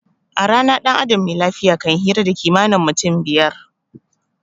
A rana dan adam me lafiya kan hira da kimanin mutum fiyar